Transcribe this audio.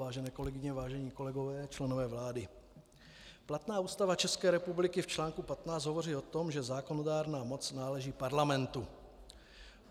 Vážené kolegyně, vážení kolegové, členové vlády, platná Ústava České republiky v článku 15 hovoří o tom, že zákonodárná moc náleží Parlamentu.